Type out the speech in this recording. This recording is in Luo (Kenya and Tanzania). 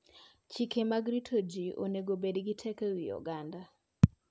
Chike mag rito ngima ji onego obed gi teko e wi oganda.